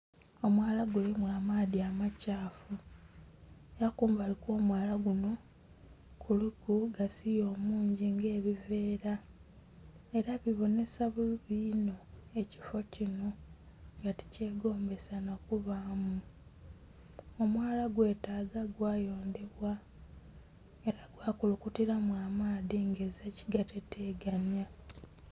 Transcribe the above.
Omwaala gulimu amaadhi amakyafuu era kumbali kwo mwaala gunho kuliku gasiiya omungi nga ebiveera era bibonheka bubi inho ekifoo kinho nga ti kyegombesa nha kubaamu. Omwaala gwetaga gwa yondhebwa era gwa kulukutilamu amaadhi nga ezila kigateteganhya.